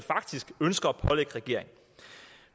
ønsker at pålægge regeringen